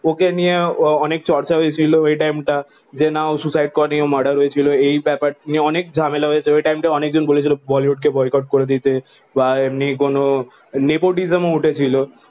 ওকে নিয়ে অনেক চর্চা হয়েছিল ওই টাইম তা যে না ও সুইসাইড করেনি ও মার্ডার হয়েছিল এই ব্যাপার নিয়ে অনেক ঝামেলা হয়ে ছিল ওই টাইম তা অনেকে বলেছিল বলিউড কে বয়কট করে দিতে আর এমনি কোনো nepotism ও উঠে ছিল